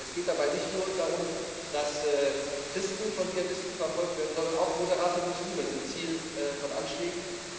Es geht dabei nicht nur darum, dass Christen von Dschihadisten verfolgt werden, sondern auch moderate Muslime sind Ziel von Anschlägen.